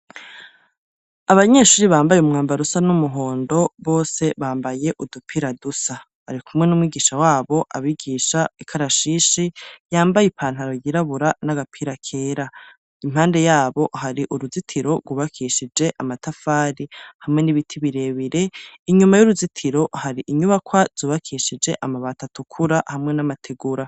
Abanyeshuri bambaye umwambarusa n'umuhondo bose bambaye udupira dusa ari kumwe n'umwigisha wabo abigisha ikarashishi yambaye ipantaro yirabura n'agapira kera impande yabo hari uruzitiro rwubakishije amatafari hamwe n'ibiti birebire inyuma y'uruzitiro hari inyubakwa zubakesheje amabatatukura hamwe n'amategura.